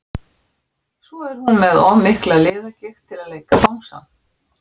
Svo er hún með of mikla liðagigt til að leika bangsann.